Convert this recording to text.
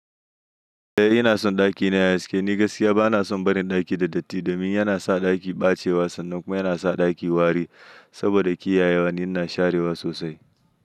Eh ina son ɗaki ne a cikin. Ni gaskiya bana son barin ɗaki da datti domin yana sa ɗaki ɓacewa sannan kuma yana sa ɗaki wari. Saboda kiyayewa ni ina sharewa sosai.